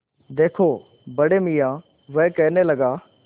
देखो बड़े मियाँ वह कहने लगा